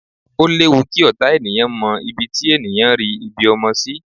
O léwu kí ọ̀tá ènìyàn mọ ibi tí ènìyàn rí ibi ọmọ sí